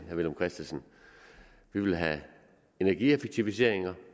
herre villum christensen vi vil have energieffektiviseringer